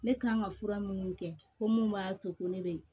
Ne kan ka fura minnu kɛ ko mun b'a to ko ne be yen